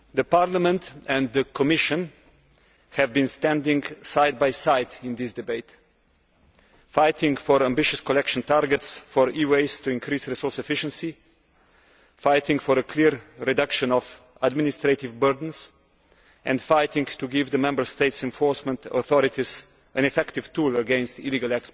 Parliament and the Commission have been standing side by side in this debate, fighting for ambitious collection targets for e waste to increase resource efficiency, fighting for a clear reduction of administrative burdens and fighting to give the Member States' enforcement authorities an effective tool against illegal